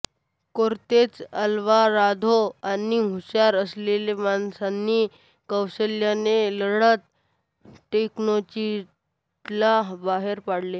Cortes Alvarado आणि हुशार असलेल्या माणसांनी कौशल्याने लढत टेनोच्टिट्लान बहेर पडले